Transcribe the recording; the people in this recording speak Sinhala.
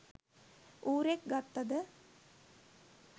ඌරෙක් ගත්ත ද